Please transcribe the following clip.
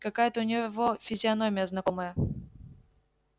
какая-то у него физиономия знакомая